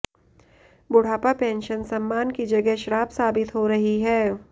बुढ़ापा पेंशन सम्मान की जगह श्राप साबित हो रही है